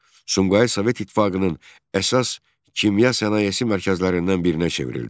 Sumqayıt Sovet İttifaqının əsas kimya sənayesi mərkəzlərindən birinə çevrildi.